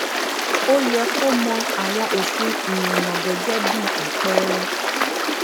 ó yẹ kó mọ àwọn òfin ìrìnnà gẹgẹ bí apẹẹrẹ